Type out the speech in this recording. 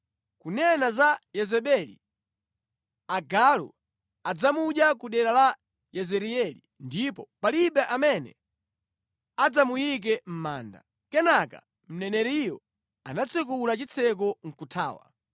Kunena za Yezebeli, agalu adzamudya ku dera la Yezireeli ndipo palibe amene adzamuyike mʼmanda.’ ” Kenaka mneneriyo anatsekula chitseko nʼkuthawa.